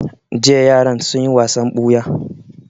Jiya yaran sun yi wasan ɓuya